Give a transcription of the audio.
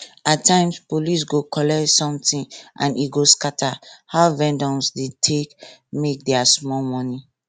at times police go collect something and e go scatter how vendors dey make their small money